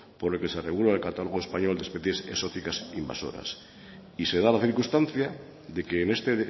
por el que se regula el catálogo español de especies exóticas invasoras y se da la circunstancia de que en este